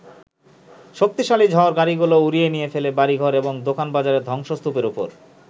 শক্তিশালী ঝড় গাড়িগুলো উড়িয়ে নিয়ে ফেলে বাড়িঘর এবং দোকানবাজারের ধ্বংসস্তূপের ওপর।